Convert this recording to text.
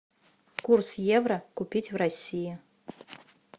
курс евро купить в россии